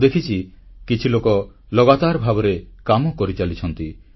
ମୁଁ ଦେଖିଛି କିଛି ଲୋକ ଲଗାତାର ଭାବରେ କାମ କରିଚାଲିଛନ୍ତି